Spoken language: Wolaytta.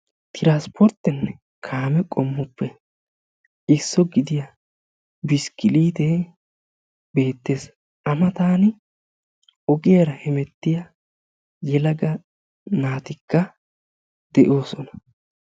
Transpporttenne kaamee qommoppe issuwa gidiya biskkiliitee bettees. A mattaani ogiyara hemettiya yelaga naatikka de'oosona.